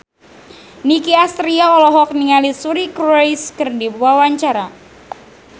Nicky Astria olohok ningali Suri Cruise keur diwawancara